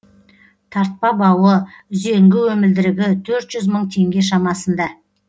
тартпа бауы үзеңгі өмілдірігі төрт жүз мың теңге шамасында